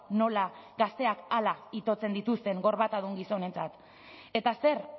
nola gazteek hala itotzen dituzten gorbatadun gizonentzat eta zer